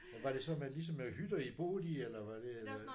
Men var det så med ligesom med hytter I boede i eller var det øh